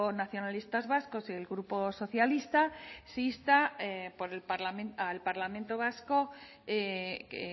nacionalistas vascos y el grupo socialistas se insta